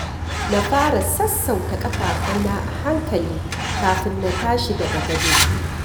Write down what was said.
Na fara sassauta ƙafafuna a hankali kafin na tashi daga gado.